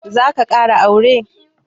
Zaka ƙara aure?